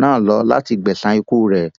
náà lọ láti gbẹsan ikú rẹ